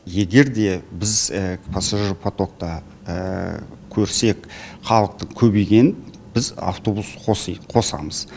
егер де біз пассажиропотокта көрсек халықтың көбейгенін біз автобус қосамыз